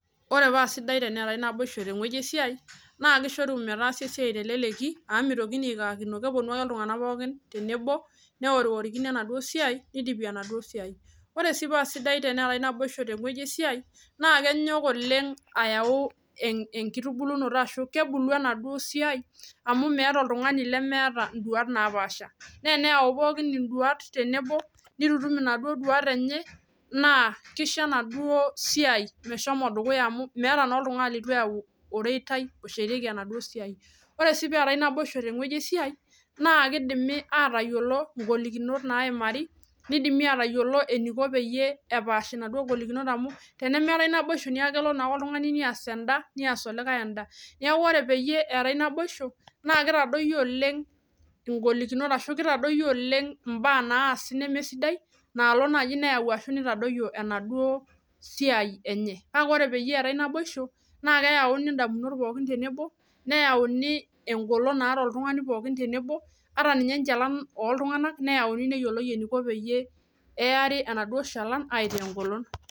ore paa sidai teneetae naboisho tewueji esiai naa keeku keponu iltunganak neponu aaworikini enaduo siai naa keeku keishunye orkasi teleleki naa kenyok oleng aitubulu amuu keyauni indamunot naapaasha naa kishoru ina metubulu amuu keeku naa meeta oltungani litu eyau oreitai lenye meteshietieki kitayiolo sii ingolikinot naagirae aimaa naa kishoru mitadoyiori tenkaraki naboisho naa naatae keyauni pooki toki tenebo ampaka ninye enchalan neeri aitaa engolon